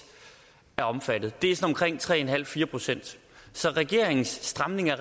er omfattet det er sådan omkring tre en halv fire procent så regeringens stramning af